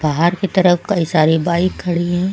बाहर की तरफ कई सारी बाइक खड़ी हैं।